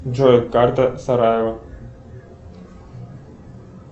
джой карта сараево